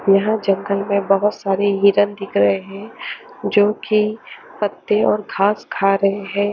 यहाँ जंगल में बहोत सारे हिरन दिख रहे हैं जो कि पत्ते और घास खा रहे हैं।